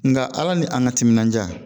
Nka ala ni an ka timinanja